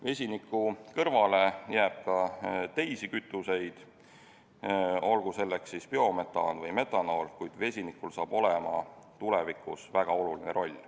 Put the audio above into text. Vesiniku kõrvale jääb ka teisi kütuseid, olgu selleks siis biometaan või metanool, kuid vesinikul saab olema tulevikus väga oluline roll.